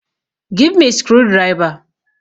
Give me screwdriver!